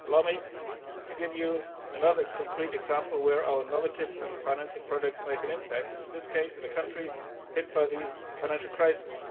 Allow me to give you another concrete example where our innovative and financing products make an impact, in this case in a country hit by the financial crisis.